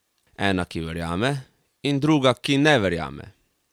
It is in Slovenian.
Ena, ki verjame, in druga, ki ne verjame.